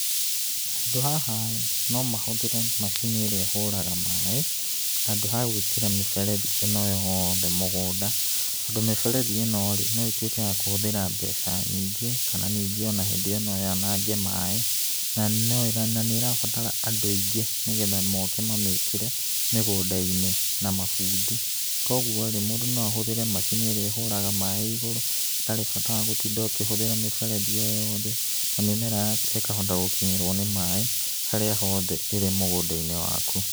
Handũ haha no mahũthĩre macini ĩrĩa ĩhũraga maaĩ handũ ha gwĩkĩra mĩberethi ĩno yothe mũgũnda, tondũ mĩberethi ĩno rĩ, no ĩtuĩke ya kũhũthĩra mbeca nyingĩ, kana ningĩ o na hĩndĩ ĩyo no yanange maaĩ, na nĩ ĩrabatara andũ aingĩ, nĩgetha moke mamĩkĩre mĩgũnda-inĩ, na mabundi. Koguo rĩ, mũndũ no ahũthĩre macini ĩrĩa ĩhũraga maaĩ igũrũ hatarĩ bata wa gũtinda ũkĩhũthĩra mĩberethi ĩyo yothe, na mĩmera yaku ĩkahota gũkinyĩrwo nĩ maaĩ harĩa hothe ĩrĩ mũgũnda-inĩ waku.